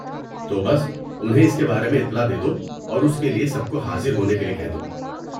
تو بس انہیں اس کے بارے میں اطلاع دے دو اور اس کے لیے سب کو حاضر ہونے کے لیے کہہ دو۔